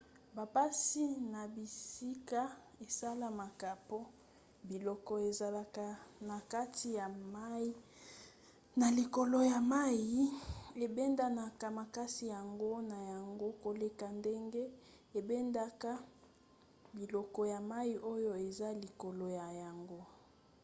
bampasi na bisika esalemaka po biloko ezalaka na kati ya mai na likolo ya mai ebendanaka makasi yango na yango koleka ndenge ebendaka biloko ya mai oyo eza likolo na yango